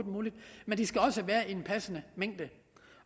muligt men de skal også være i en passende mængde